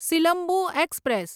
Silambu express